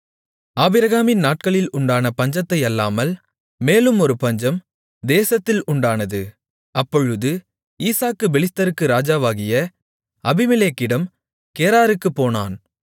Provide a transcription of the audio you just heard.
ஆபிரகாமின் நாட்களில் உண்டான பஞ்சத்தை அல்லாமல் மேலும் ஒரு பஞ்சம் தேசத்தில் உண்டானது அப்பொழுது ஈசாக்கு பெலிஸ்தருக்கு ராஜாவாகிய அபிமெலேக்கிடம் கேராருக்குப் போனான்